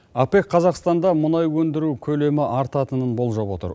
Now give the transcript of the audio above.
апэк қазақстанда мұнай өндіру көлемі артатынын болжап отыр